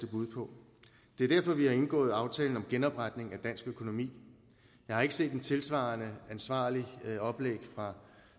bud på det er derfor vi har indgået aftalen om genopretning af dansk økonomi jeg har ikke set et tilsvarende ansvarligt oplæg fra